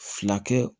Fila kɛ